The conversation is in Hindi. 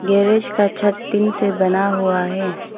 गैरेज का छत टीन से बना हुआ है।